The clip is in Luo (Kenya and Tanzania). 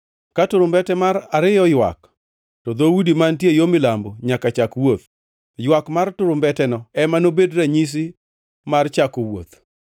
Ka turumbete mar ariyo oywak, to dhoudi mantie yo milambo nyaka chak wuoth. Ywak mar turumbeteno ema nobed ranyisi mar chako wuoth.